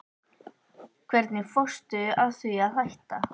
Hvernig fórstu að því að hætta?